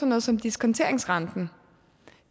noget som diskonteringsrenten